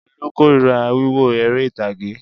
Olú korira wíwo eré ìtàgé.